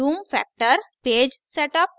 zoom factor page setup